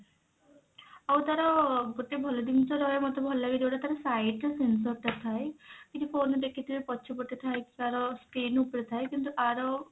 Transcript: ଆଉ ତାର ଗୋଟେ ଭଲ ଜିନିଷ ରହେ ମୋତେ ଭଲ ଲାଗେ ଯଉଟା ତାର side ରେ sensor ଟା ଥାଏ କିଛି phone ରେ ଦେଖିଥିବେ ପଛପଟେ ଥାଏ କି ତାର screen ଉପରେ ଥାଏ କିନ୍ତୁ ଆର